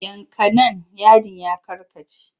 Yanka nan yadin ya karkace!